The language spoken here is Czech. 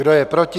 Kdo je proti?